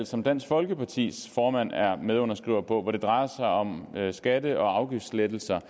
som dansk folkepartis formand er medunderskriver på hvor det drejer sig om skatte og afgiftslettelser